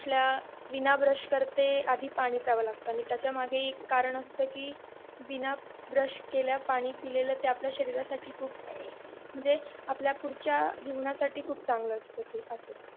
उठल्या बिना ब्रश केल्या आधी पाणी प्प्याव लागत त्यामध्ये हि एक कारण असते कि बिना ब्रश केल्या पाणी पीलेल आपल्या शरीरासाठी म्हणजे पुढच्या जीवन साठी चांगलं असत ते असं